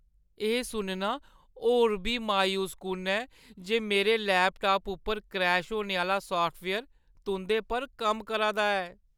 एह् सुनना होर बी मायूसकुन ऐ जे मेरे लैपटाप उप्पर क्रैश होने आह्‌ला साफ्टवेयर तुंʼदे पर कम्म करा दा ऐ।